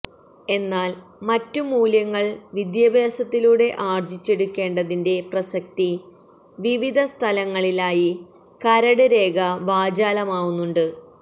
എന്നാല് മറ്റു മൂല്യങ്ങള് വിദ്യാഭ്യാസത്തിലൂടെ ആര്ജിച്ചെടുക്കേണ്ടതിന്റെ പ്രസക്തി വിവിധ സ്ഥലങ്ങളിലായി കരട് രേഖ വാചാലമാവുന്നുണ്ട്